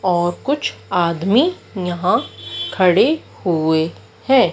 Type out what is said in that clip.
और कुछ आदमी यहां खड़े हुए हैं।